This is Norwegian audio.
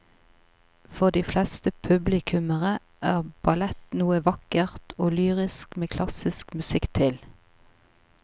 For de fleste publikummere er ballett noe vakkert og lyrisk med klassisk musikk til.